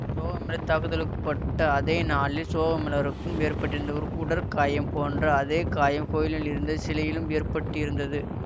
சோகமெளர் தாக்குதலுக்குள்ளக்கப்பட்ட அதே நாளில் சோகமெளருக்கும் ஏற்பட்டிருந்த உடற்காயம் போன்ற அதே காயம் கோயிலில் இருந்த சிலையிலும் ஏற்பட்டிருந்தது